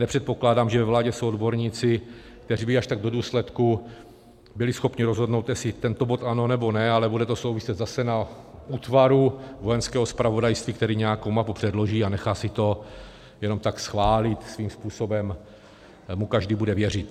Nepředpokládám, že ve vládě jsou odborníci, kteří by až tak do důsledku byli schopni rozhodnout, jestli tento bod ano, nebo ne, ale bude to souviset zase s útvarem Vojenského zpravodajství, který nějakou mapu předloží a nechá si to jenom tak schválit, svým způsobem mu každý bude věřit.